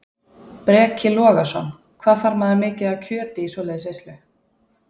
Breki Logason: Hvað þarf maður mikið af kjöti í svoleiðis veislu?